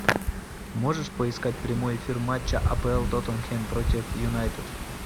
можешь поискать прямой эфир матча апл тоттенхэм против юнайтед